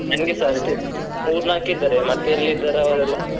ನಂಗೆಸಾ ಮೂರ್ ನಾಕ್ ಇದ್ದಾರೆ ಮತ್ತೆ ಎಲ್ಲಿ ಇದ್ದಾರ ಅವರೆಲ್ಲ.